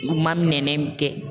U ma minɛnen bi kɛ.